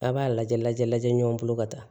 A b'a lajɛ lajɛ lajɛ ɲɔgɔn bolo ka taa